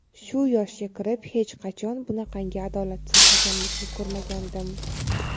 Shu yoshga kirib hech qachon bunaqangi adolatsiz hakamlikni ko‘rmagandim.